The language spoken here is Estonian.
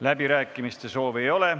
Läbirääkimiste soovi ei ole.